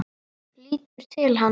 Lítur til hans.